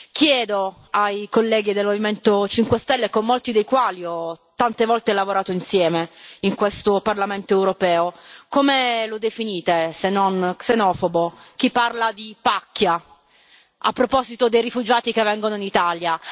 Chiedo ai colleghi del Movimento 5 Stelle, con molti dei quali ho tante volte lavorato insieme in questo Parlamento europeo come lo definite se non xenofobo chi parla di pacchia a proposito dei rifugiati che vengono in Italia?